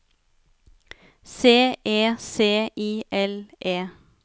C E C I L E